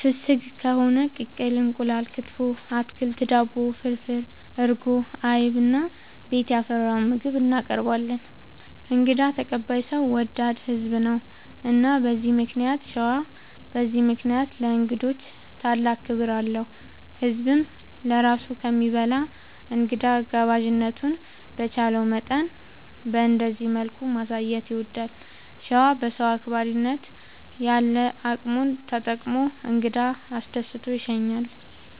ፍስግ ከሆነ ቅቅል እንቁላል፣ ክትፎ፣ አትክልት፣ ዳቦ፣ ፍርፍር፣ እርጎ፣ አይብ እና ቤት ያፈራውን ምግብ እናቀርባለን እንግዳ ተቀባይ ሰው ወዳድ ህዝብ ነው። እና በዚህ ምክንያት ሸዋ በዚህ ምክንያት ለእንግዶች ታላቅ ክብር አለው። ህዝብም ለራሱ ከሚበላ እንግዳ ጋባዥነቱን በቻለው መጠን በእንደዚህ መልኩ ማሳየት ይወዳል። ሸዋ በሰው አክባሪነት ያለ አቅሙን ተጠቅሞ እንግዳ አስደስቶ ይሸኛል።